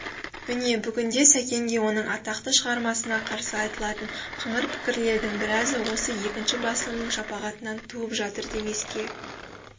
міне бүгінде сәкенге оның атақты шығармасына қарсы айтылатын қыңыр пікірлердің біразы осы екінші басылымның шапағатынан туып жатыр демеске